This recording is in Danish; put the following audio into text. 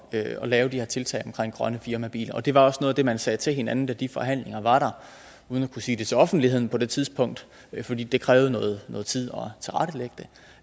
at lave de her tiltag omkring grønne firmabiler det var også noget af det man sagde til hinanden da de forhandlinger var der uden at kunne sige det til offentligheden på det tidspunkt fordi det krævede noget noget tid